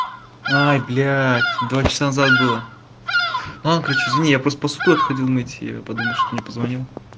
ай блядь два часа назад было ну ладно короче извини я просто посуду отходил мыть и я подумал что не позвонил